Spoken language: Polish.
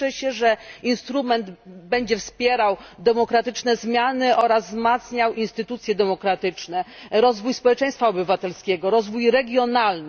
Cieszę się, że instrument będzie wspierał demokratyczne zmiany oraz wzmacniał instytucje demokratyczne, rozwój społeczeństwa obywatelskiego, rozwój regionalny.